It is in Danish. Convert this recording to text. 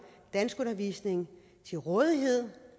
danskundervisning til rådighed